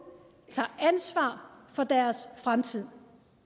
tager ansvar for deres fremtid